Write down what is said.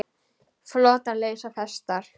Flotar leysa festar.